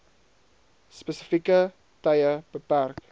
spesifieke tye beperk